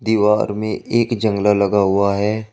दीवार में एक जंगला लगा हुआ है।